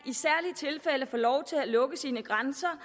få lov til at lukke sine grænser